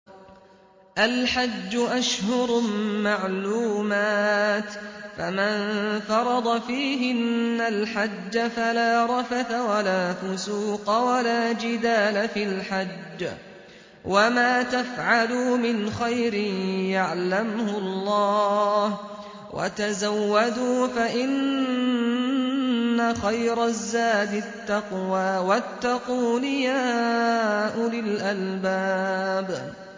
الْحَجُّ أَشْهُرٌ مَّعْلُومَاتٌ ۚ فَمَن فَرَضَ فِيهِنَّ الْحَجَّ فَلَا رَفَثَ وَلَا فُسُوقَ وَلَا جِدَالَ فِي الْحَجِّ ۗ وَمَا تَفْعَلُوا مِنْ خَيْرٍ يَعْلَمْهُ اللَّهُ ۗ وَتَزَوَّدُوا فَإِنَّ خَيْرَ الزَّادِ التَّقْوَىٰ ۚ وَاتَّقُونِ يَا أُولِي الْأَلْبَابِ